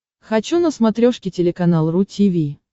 хочу на смотрешке телеканал ру ти ви